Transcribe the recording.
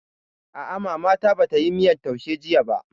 A'a, Mama ta ba tayi miyan taushe jiya ba